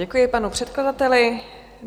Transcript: Děkuji panu předkladateli.